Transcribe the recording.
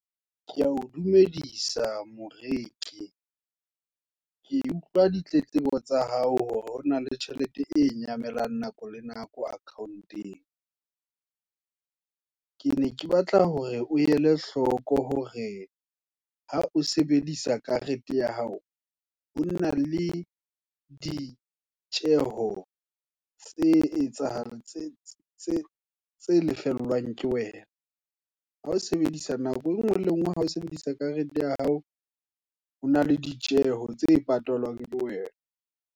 Keya o dumedisa moreki, ke utlwa ditletlebo tsa hao, hore hona le tjhelete e nyamela, nako le nako account-eng. Ke ne ke batla hore, o ele hloko hore, ha o sebedisa karete ya hao, hona le ditjeho, tse lefellwang ke wena. nako enngwe le enngwe, ha o sebedisa karete ya hao, hona le ditjeho, tse patalwang ke wena.